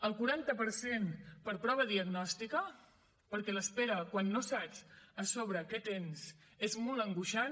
el quaranta per cent per prova diagnòstica perquè l’espera quan no saps a sobre què tens és molt angoixant